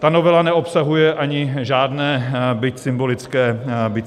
Ta novela neobsahuje ani žádné, byť symbolické, úspory.